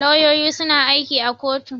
Lauyoyi suna aiki a kotu.